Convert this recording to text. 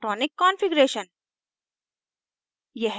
electronic configuration